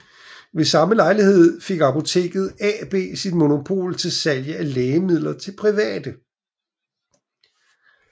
Ved samme lejlighed fik Apoteket AB sit monopol på salg af lægemidler til private